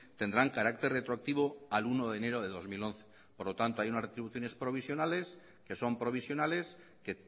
tendrán carácter retroactivo al uno de enero de dos mil once por lo tanto hay unas retribuciones provisionales que son provisionales que